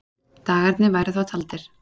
Dagarnir væru þá taldir.